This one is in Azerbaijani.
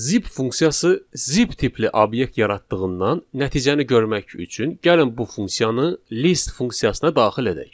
Zip funksiyası zip tipli obyekt yaratdığından, nəticəni görmək üçün gəlin bu funksiyanı list funksiyasına daxil edək.